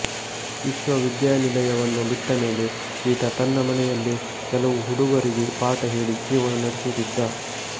ವಿಶ್ವವಿದ್ಯಾನಿಲಯವನ್ನು ಬಿಟ್ಟಮೇಲೆ ಈತ ತನ್ನ ಮನೆಯಲ್ಲೇ ಕೆಲವು ಹುಡುಗರಿಗೆ ಪಾಠ ಹೇಳಿ ಜೀವನ ನಡೆಸುತ್ತಿದ್ದ